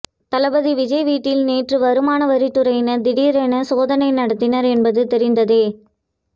தளபதி விஜய் வீட்டில் நேற்று வருமான வரித்துறையினர் திடீரென சோதனை நடத்தினர் என்பது தெரிந்ததே